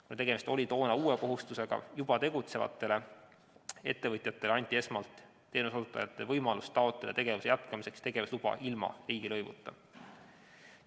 Kuna tegemist oli toona uue kohustusega juba tegutsevatele ettevõtjatele, siis anti esmalt teenuseosutajatele võimalus taotleda tegevuse jätkamiseks tegevusluba ilma riigilõivuta.